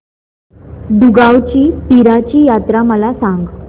दुगावची पीराची यात्रा मला सांग